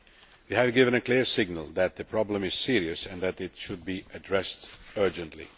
We have given a clear signal that the problem is serious and should be addressed urgently.